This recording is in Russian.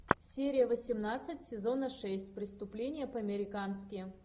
серия восемнадцать сезона шесть преступление по американски